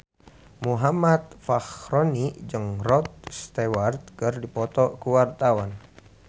Muhammad Fachroni jeung Rod Stewart keur dipoto ku wartawan